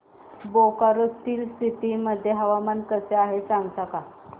Bokaro Steel City मध्ये हवामान कसे आहे सांगता का